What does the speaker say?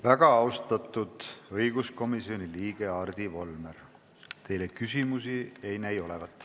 Väga austatud õiguskomisjoni liige Hardi Volmer, teile küsimusi ei näi olevat.